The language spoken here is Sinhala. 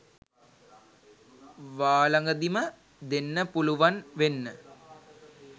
වාලඟදිම දෙන්න පුලුවන් වෙන්න